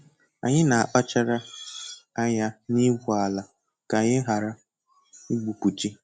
Anyị na-akpachara anya n'igwu ala ka anyị ghara igbubi ji.